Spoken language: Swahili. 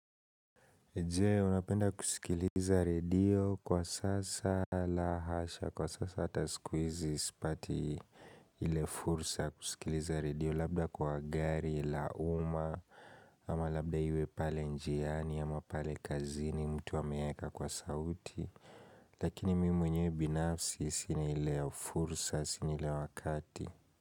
Je unapenda kusikiliza radio? Kwa sasa la hasha, kwa sasa hata siku hizi sipati ile fursa kusikiliza radio labda kwa gari la uma ama labda iwe pale njiani ama pale kazini mtu ameweka kwa sauti lakini mimi mwenyewe binafsi sina ile fursa sina, sina ile wakati.